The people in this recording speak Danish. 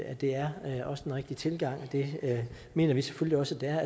at det er den rigtige tilgang det mener vi selvfølgelig også det er